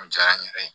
O diyara n yɛrɛ ye